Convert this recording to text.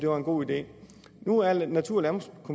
var en god idé nu er natur